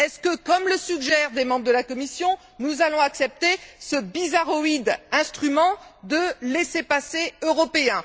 Est ce que, comme le suggèrent des membres de la commission, nous allons accepter ce bizarroïde instrument de laissez passer européen?